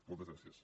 moltes gràcies